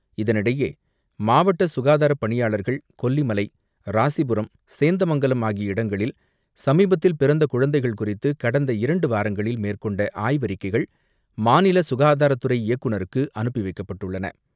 இதனிடையே மாவட்ட சுகாதாரப் பணியாளர்கள் கொல்லிமலை, ராசிபுரம், சேந்தமங்கலம் ஆகிய இடங்களில் சமீபத்தில் பிறந்த குழந்தைகள் குறித்து கடந்த இரண்டு வாரங்களில் மேற்கொண்ட ஆய்வறிக்கைகள் மாநில சுகாதாரத்துறை இயக்குநருக்கு அனுப்பி வைக்கப்பட்டுள்ளன.